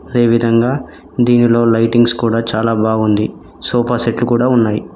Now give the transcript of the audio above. అదేవిదంగా దీనిలో లైటింగ్స్ కుడా చాలా బాగుంది సోఫా సెట్లు కూడా ఉన్నాయ్.